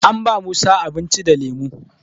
An ba musa abinci da lemo